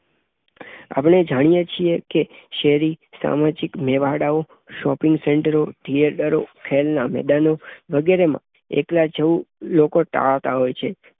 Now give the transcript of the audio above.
આપડે જાણીયે છીએકે શેરીઓ, સામાજિક મેળાવડાઓ, શોપિંગ સેન્ટરો, થિયેટરો, ખેલનાં મેદાનો વગેરેમાં એકલા જવું લોકો ટાળતા હોય છે.